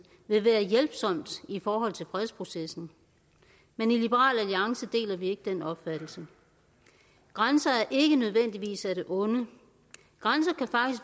vil være hjælpsom i forhold til fredsprocessen men i liberal alliance deler vi ikke den opfattelse grænser er ikke nødvendigvis af det onde grænser